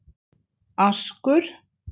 Askur